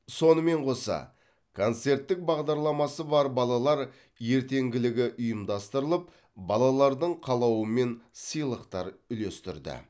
сонымен қоса концерттік бағдарламасы бар балалар ертеңгілігі ұйымдастырылып балалардың қалауымен сыйлықтар үлестірді